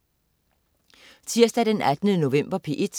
Tirsdag den 18. november - P1: